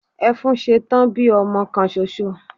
Efúnsetán bí ọmọ kan soso